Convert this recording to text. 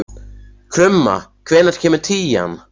Krumma, hvenær kemur tían?